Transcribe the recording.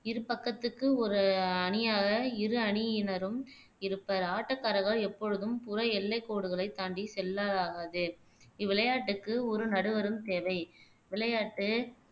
இரு பக்கத்துக்கு ஒரு அணியாக இரு அணியினரும் இருப்பர் ஆட்டக்காரர்கள் எப்பொழுதும் புற எல்லை கோடுகளை தாண்டி செல்லலாகாது இவ்விளையாட்டுக்கு ஒரு நடுவரும் தேவை விளையாட்டு